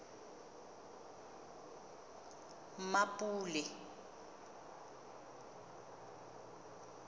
mmapule